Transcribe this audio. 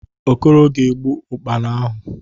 Okoro ga-egbu Ụ́kpara ahụ.